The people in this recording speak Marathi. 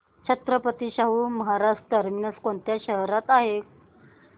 छत्रपती शाहू महाराज टर्मिनस कोणत्या शहरात आहे